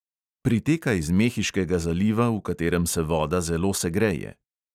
Priteka iz mehiškega zaliva, v katerem se voda zelo segreje.